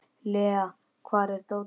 Lea, hvar er dótið mitt?